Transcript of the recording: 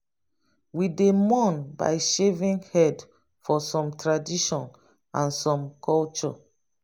we dey mourn by shaving head for some tradition and some culture